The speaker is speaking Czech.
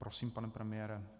Prosím, pane premiére.